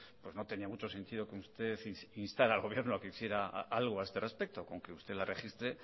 pues no tenía mucho sentido que usted instara al gobierno a que hiciera algo al respecto con que usted la registre